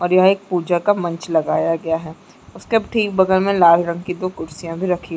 और यहाँ एक पूजा का मंच लगाया गया है उसके ठीक बगल में लाल रंग की दो कुर्सियाँ भी रखी--